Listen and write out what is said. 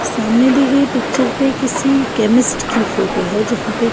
सामने दी गई पिक्चर पे किसी केमिस्ट की फोटो है जहाँ पे--